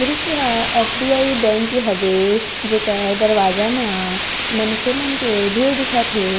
दृश्य हा F D I bank के हवे जेकर दरवाजा मा मनखे मनके भीड़ दिखत हे।